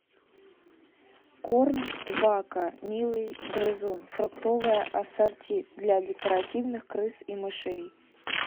корм вака милый грызун фруктовое ассорти для декоративных крыс и мышей